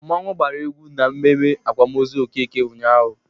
Mmọnwụ gbara egwu na mmemme akwamozu Okeke ụnyaahụ.